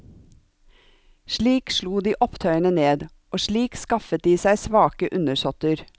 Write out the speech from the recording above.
Slik slo de opptøyene ned, og slik skaffet de seg svake undersåtter.